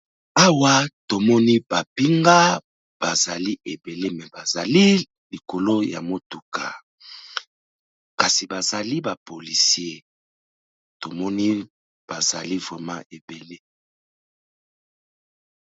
Awa tomoni ba pinga bazali ebele me bazali likolo ya motuka, kasi bazali ba policier tomoni bazali vraiment ebele.